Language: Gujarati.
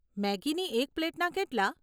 મેગીની એક પ્લેટના કેટલાં?